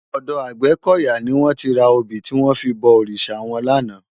Òdò Agbekoya ni wòn ti rá óbi tiwòn fi bò órisá wòn làná